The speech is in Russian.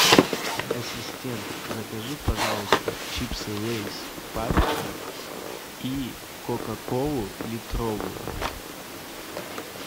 ассистент закажи пожалуйста чипсы лейс паприка и кока колу литровую